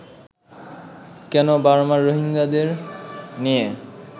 কেন বার্মায় রোহিঙ্গাদের নিয়ে